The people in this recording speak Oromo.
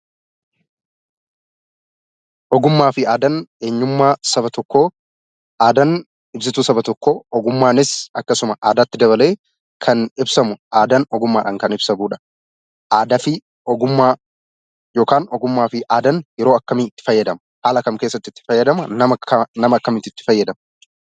Ogummaa fi aadaan eenyummaa saba tokkoo aadaan ibsituu saba tokkoo ogummaanis akkasuma aadaatti dabalee kan ibsamu aadaan ogummaadhan kan ibsamudha. Aadaa fi ogummaa yookan ogummaa fi aadaan yeroo akkamii itti fayyadamu? haala kam keessatti itti fayyadama? nama akkamiitu itti fayyadama?